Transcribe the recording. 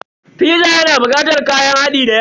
Fiza yana bukatar kayan hadi dayawa.